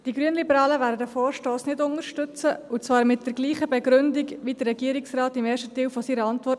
Die Grünliberalen werden diesen Vorstoss nicht unterstützen, und zwar mit der gleichen Begründung wie der Regierungsrat im ersten Teil seiner Antwort.